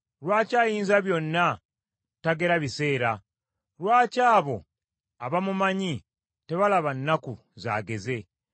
“Lwaki Ayinzabyonna tagera biseera? Lwaki abo abamumanyi tebalaba nnaku zaageze?